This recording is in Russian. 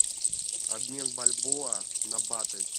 обмен бальбоа на баты